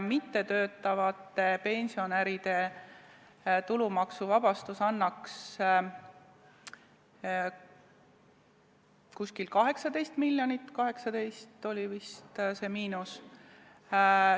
Mittetöötavate pensionäride tulumaksuvabastus annaks umbes 18 miljonit, 18 miljonit oli vist see miinus.